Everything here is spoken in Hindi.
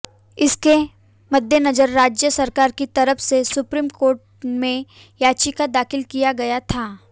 इसके मद्देनजर राज्य सरकार की तरफ से सुप्रीम कोर्ट में याचिका दाखिल किया गया था